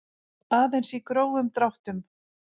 Aðeins í grófum dráttum.